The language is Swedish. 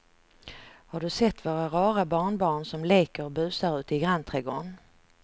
Har du sett våra rara barnbarn som leker och busar ute i grannträdgården!